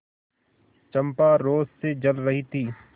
चंपा रोष से जल रही थी